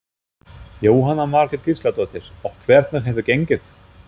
Jóhanna Margrét Gísladóttir: Og hvernig hefur gengið?